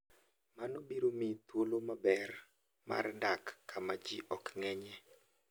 Mano biro miyi thuolo maber mar dak kama ji ok ng'enyie.